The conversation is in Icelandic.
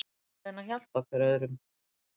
Við verðum að reyna að hjálpa hver öðrum.